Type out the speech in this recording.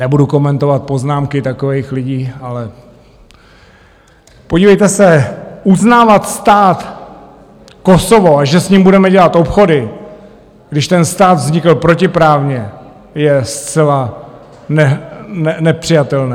Nebudu komentovat poznámky takových lidí, ale podívejte se, uznávat stát Kosovo a že s ním budeme dělat obchody, když ten stát vznikl protiprávně, je zcela nepřijatelné.